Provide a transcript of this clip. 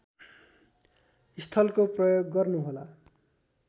स्थलको प्रयोग गर्नुहोला